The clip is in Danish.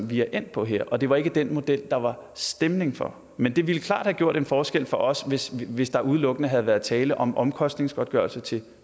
vi er endt på her og det var ikke den model der var stemning for men det ville klart have gjort en forskel for os hvis hvis der udelukkende havde været tale om omkostningsgodtgørelse til